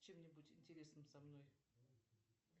чем нибудь интересным со мной